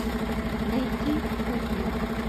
найти кухня